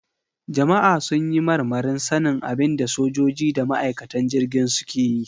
Jama'a sun yi marmarin sanin abin da sojoji da ma'aikatan jirgin suke yi.